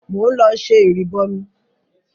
Mò ń lọ ṣẹ ìrìbọmi.